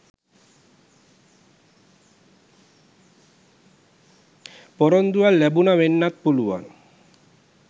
පොරොන්දුවක් ලැබුන වෙන්නත් පුළුවන්.